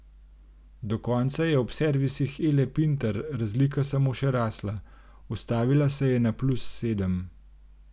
Do konca je ob servisih Ele Pintar razlika samo še rasla, ustavila se je na plus sedem.